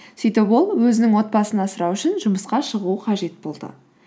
сөйтіп ол өзінің отбасын асырау үшін жұмысқа шығуы қажет болды